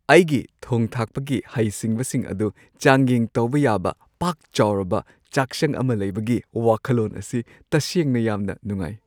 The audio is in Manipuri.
ꯑꯩꯒꯤ ꯊꯣꯡ-ꯊꯥꯛꯄꯒꯤ ꯍꯩꯁꯤꯡꯕꯁꯤꯡ ꯑꯗꯨ ꯆꯥꯡꯌꯦꯡ ꯇꯧꯕ ꯌꯥꯕ ꯄꯥꯛ-ꯆꯥꯎꯔꯕ ꯆꯥꯛꯁꯪ ꯑꯃ ꯂꯩꯕꯒꯤ ꯋꯥꯈꯜꯂꯣꯟ ꯑꯁꯤ ꯇꯁꯦꯡꯅ ꯌꯥꯝꯅ ꯅꯨꯡꯉꯥꯏ꯫